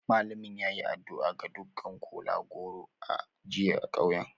Malamin ya yi addu'a ga dukkan kola-goro a jiya a kauyen.